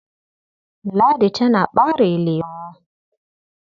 Ladi tana ɓare lemo.